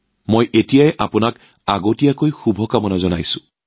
মই ইয়াৰ বাবে আগতীয়াকৈ শুভকামনা জনাইছো